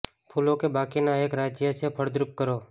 ફૂલો કે બાકીના એક રાજ્ય છે ફળદ્રુપ કરો